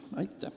Aitäh!